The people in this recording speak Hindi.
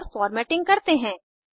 और फ़ॉर्मेटिंग करते हैं